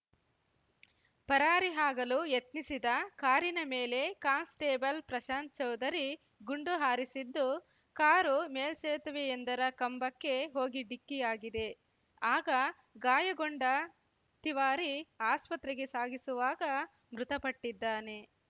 ಪರಾರಿ ಆಗಲು ಯತ್ನಿಸಿದ ಕಾರಿನ ಮೇಲೆ ಕಾನ್‌ಸ್ಟೇಬಲ್‌ ಪ್ರಶಾಂತ್‌ ಚೌಧರಿ ಗುಂಡು ಹಾರಿಸಿದ್ದು ಕಾರು ಮೇಲ್ಸೇತುವೆಯೊಂದರ ಕಂಬಕ್ಕೆ ಹೋಗಿ ಡಿಕ್ಕಿಯಾಗಿದೆ ಆಗ ಗಾಯಗೊಂಡ ತಿವಾರಿ ಆಸ್ಪತ್ರೆಗೆ ಸಾಗಿಸುವಾಗ ಮೃತಪಟ್ಟಿದ್ದಾನೆ